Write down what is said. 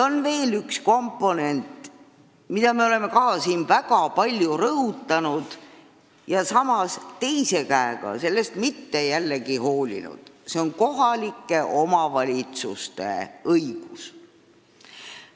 On veel üks komponent, mida me oleme siin väga palju rõhutanud ja samas sellest mitte kuigi palju hoolinud: see on kohalike omavalitsuste õigus.